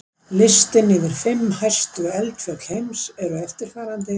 Listinn yfir fimm hæstu eldfjöll heims er eftirfarandi: